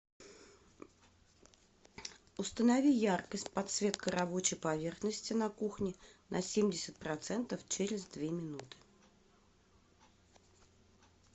установи яркость подсветка рабочей поверхности на кухне на семьдесят процентов через две минуты